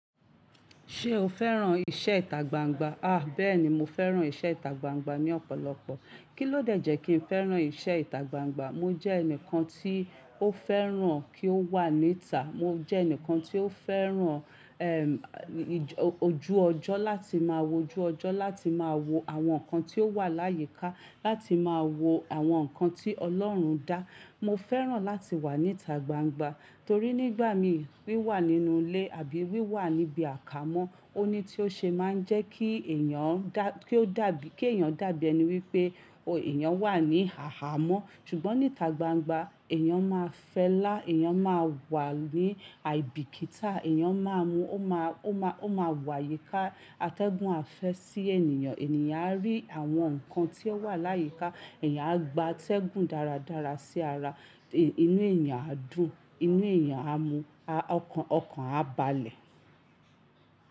Ṣé o fẹ́ràn iṣẹ́ ìta gbangba? Ah! Bẹ́ẹ̀ni, mo fẹ́ràn iṣẹ́ ìta gbangba ní ọ̀pọ̀lọpọ̀. Kí ló dẹ́jẹ́ kí n fẹ́ràn iṣẹ́ ìta gbangba? Mo jẹ́ ẹnìkan tí ó fẹ́ràn kí ó wà níta. Mo jẹ́ ẹnìkan tí ó fẹ́ràn, ẹm, ojú ọjọ́ láti máa wo ojú ọjọ́, láti máa wo àwọn nǹkan tí ó wà láyíkà, láti máa wo àwọn nǹkan tí Ọlọ́run dá. Mo fẹ́ràn láti wà níta gbangba torí nígbà mi wí wà nínú ilé àbí wí wà níbi àkámọ́, ó ní tí ó ṣe máa ń jẹ́ kí èèyàn dá, kí ó dàbí, kí èèyàn dàbí ẹni wípé, ò, èèyàn wà ní àhàmọ́. Ṣùgbọ́n níta gbangba, èèyàn máa fẹlá, èèyàn máa wà ní àìbíkítà, èèyàn máa mu, ó máa, ó máa, ó máa wò àyíká atẹ́gùn àfẹ́ sí ènìyàn. Ènìyàn á rí àwọn nǹkan tí ó wà láyíkà, èèyàn á gba atẹ́gùn dáradára sí ara, inú èèyàn á dùn, inú èèyàn á mu, ọkàn, ọkàn á balẹ̀.